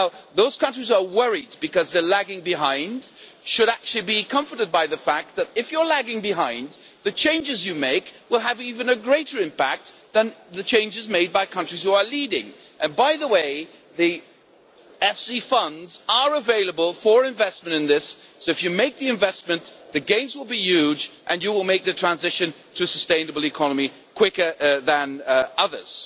Those countries that are worried because they are lagging behind should actually be comforted by the fact that, if you are lagging behind, the changes that you make will have an even greater impact than the changes made by countries which are leading. By the way, EFSI funds are available for investment in this, so, if you make the investment, the gains will be huge and you will make the transition to a sustainable economy more quickly than others.